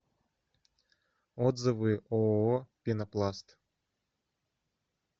отзывы ооо пенопласт